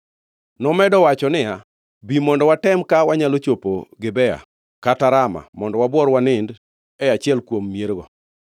Nomedo owacho niya, “Bi, mondo watem ka wanyalo chopo Gibea kata Rama mondo wabuor wanindi e achiel kuom miergo.”